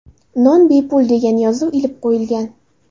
Non bepul” degan yozuv ilib qo‘yilgan.